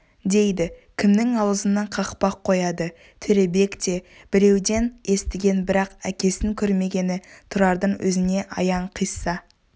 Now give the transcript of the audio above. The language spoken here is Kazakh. дейді кімнің аузына қақпақ қояды төребек те біреуден естіген бірақ әкесін көрмегені тұрардың өзіне аян қисса